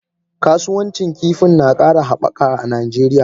Kasuwancin kifin na kara habaka a Najeriya.